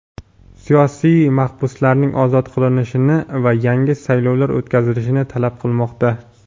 siyosiy mahbuslarning ozod qilinishini va yangi saylovlar o‘tkazilishini talab qilmoqda.